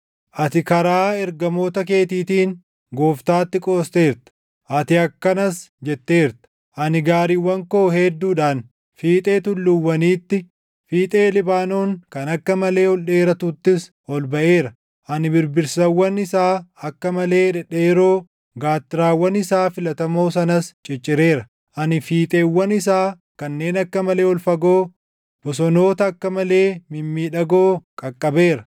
Ati karaa ergamoota keetiitiin, Gooftaatti qoosteerta. Ati akkanas jetteerta; ‘Ani gaariiwwan koo hedduudhaan fiixee tulluuwwaniitti, fiixee Libaanoon kan akka malee ol dheeratuttis ol baʼeera. Ani birbirsawwan isaa akka malee dhedheeroo, gaattiraawwan isaa filatamoo sanas ciccireera. Ani fiixeewwan isaa kanneen akka malee ol fagoo, bosonoota akka malee mimmiidhagoo qaqqabeera.